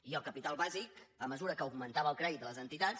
i el capital bàsic a mesura que augmen·tava el crèdit de les entitats